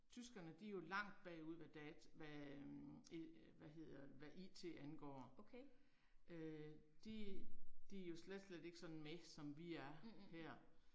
Tyskerne de er jo langt bagud hvad hvad øh hvad hedder hvad I T angår. Øh de de er jo slet slet ikke sådan med som vi er her